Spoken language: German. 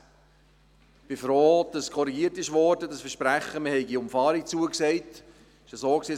Ich bin froh, dass die Aussage betreffend das Versprechen, eine Umfahrung in Aussicht zu stellen, korrigiert wurde.